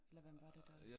Eller hvem var det da?